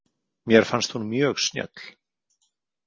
Mér fannst hún mjög snjöll.